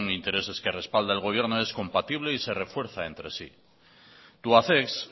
intereses que respalda el gobierno es compatible y se refuerza entre sí tubacex